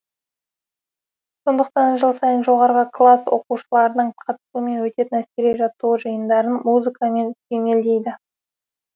сондықтан жыл сайын жоғарғы класс оқушыларының қатысуымен өтетін әскери жаттығу жиындарын музыкамен сүйемелдейді